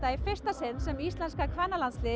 í fyrsta sinn sem íslenska kvennalandsliðið